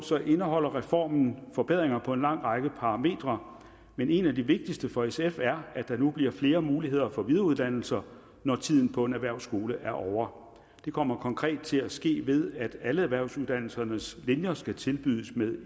indeholder reformen forbedringer på en lang række parametre men en af de vigtigste for sf er at der nu bliver flere muligheder for videreuddannelse når tiden på en erhvervsskole er ovre det kommer konkret til at ske ved at alle erhvervsuddannelsernes linjer skal tilbydes med